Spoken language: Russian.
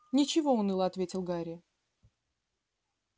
ничего уныло ответил гарри